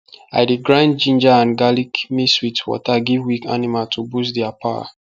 i dey grind ginger and garlic mix with water give weak animal to boost their power